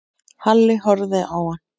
Halli horfði á hann.